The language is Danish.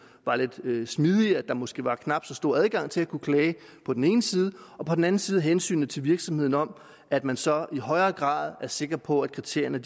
var lidt smidigere at der måske var knap så stor adgang til at kunne klage på den ene side og på den anden side hensynet til virksomhederne om at man så i højere grad er sikker på at kriterierne